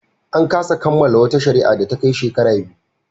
An kasa kammala wata shari'a da ta kai shekara biyu.